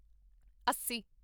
ਅੱਸੀ